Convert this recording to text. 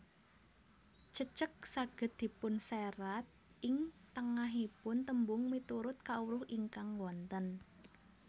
Cecek saged dipunserat ing tengahipung tembung miturut kawruh ingkang wonten